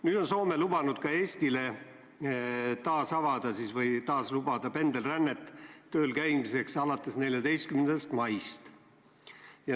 Nüüd on Soome lubanud alates 14. maist avada ka Eesti vahel pendelrände tööl käimiseks.